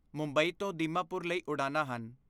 ਮੁੰਬਈ ਤੋਂ ਦੀਮਾਪੁਰ ਲਈ ਉਡਾਣਾਂ ਹਨ।